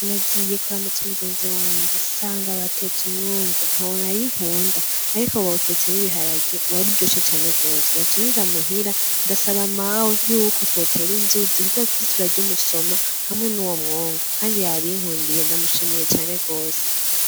Nagiye kuramutsa umugenzi wanje nsanga batetse umwungu, ntawo narinkunda ariko bawutetse n'ibiharage waruryoshe cane gose, naciye nja muhira ndasaba mawe yuko twotera inzuzi kugira tuze turarya umusoma hamwe nuwo mwungu, kandi yabinkundiye ndamushimiye cane gose.